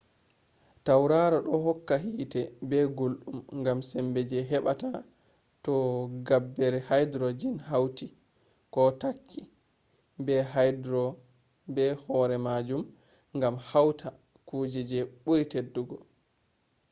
tauraro do hokka hiite be guldum gam sembe je hebata to gabbere hydrogen hauti ko takki be horemajum gam hauta kuje je buri teddugo